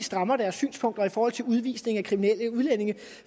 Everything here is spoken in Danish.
strammer deres synspunkter i forhold til udvisning af kriminelle udlændinge